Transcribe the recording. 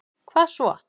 hvað svo?